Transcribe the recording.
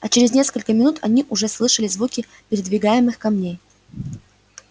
а через несколько минут они уже слышали звуки передвигаемых камней